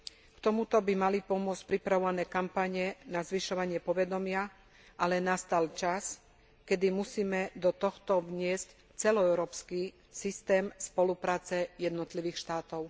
K tomuto by mali pomôcť pripravované kampane na zvyšovanie povedomia, ale nastal čas, kedy musíme do tohto vniesť celoeurópsky systém spolupráce jednotlivých štátov.